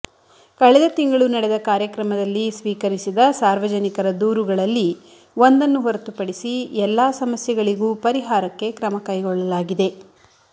ಕಳೆದ ತಿಂಗಳು ನಡೆದ ಕಾರ್ಯ ಕ್ರಮದಲ್ಲಿ ಸ್ವೀಕರಿಸಿದ ಸಾರ್ವಜನಿಕರ ದೂರುಗಳಲ್ಲಿ ಒಂದನ್ನು ಹೊರತು ಪಡಿಸಿ ಎಲ್ಲಾ ಸಮಸ್ಯೆಗಳಿಗೂ ಪರಿಹಾರಕ್ಕೆ ಕ್ರಮಕೈಗೊಳ್ಳಲಾಗಿದೆ